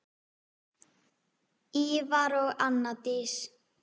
Ívar og Anna Dís.